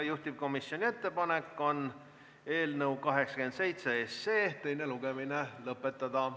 Juhtivkomisjoni ettepanek on eelnõu 87 teine lugemine lõpetada.